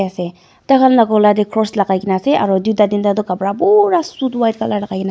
se takhan la gola tae cross lakai kae naase aro tuita teenta kapra pura suit white lakaikaena ase--